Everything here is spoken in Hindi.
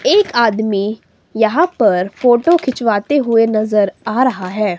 एक आदमी यहां पर फोटो खिंचवाते हुए नजर आ रहा है।